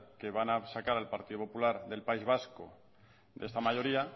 que van a sacar al partido popular del país vasco de esta mayoría